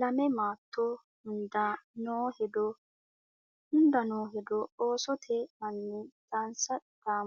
Lame maatto hunda noo hedo hunda noo hedo Oosote anni dhaansa dhaa